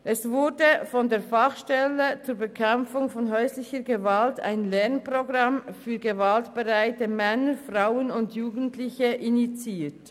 Von der Fachstelle zur Bekämpfung häuslicher Gewalt wurde ein Lernprogramm für gewaltbereite Männer, Frauen und Jugendliche initiiert.